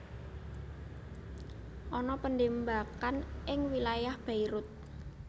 Ana penembakan ning wilayah Beirut